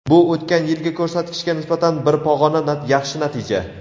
Bu o‘tgan yilgi ko‘rsatkichga nisbatan bir pog‘ona yaxshi natija.